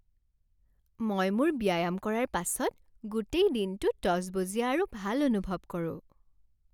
মই মোৰ ব্যায়াম কৰাৰ পাছত গোটেই দিনটো তজবজীয়া আৰু ভাল অনুভৱ কৰোঁ।